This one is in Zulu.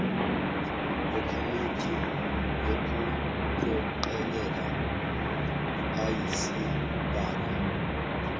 ekomidi lokuphoqelela ayisibalo